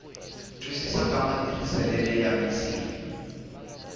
twisisa ka matirhisisele ya misinya